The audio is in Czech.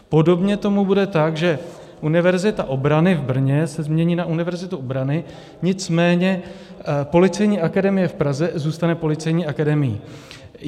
Podobně tomu bude tak, že Univerzita obrany v Brně se změní na Univerzitu obrany, nicméně Policejní akademie v Praze zůstane Policejní akademií.